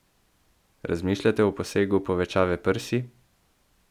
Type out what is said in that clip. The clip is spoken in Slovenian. Razmišljate o posegu povečave prsi?